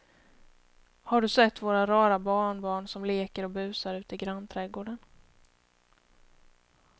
Har du sett våra rara barnbarn som leker och busar ute i grannträdgården!